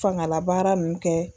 Fangalabaara nunnu kɛ